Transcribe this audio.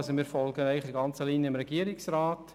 Wir folgen dem Regierungsrat auf der ganzen Linie.